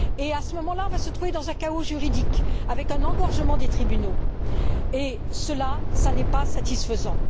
À ce moment là, on va se trouver dans un chaos juridique, avec un engorgement des tribunaux cela n'est pas satisfaisant.